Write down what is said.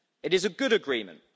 It is a good agreement.